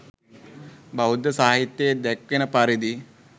බෞද්ධ සාහිත්‍යයේ දැක්වෙන පරිදි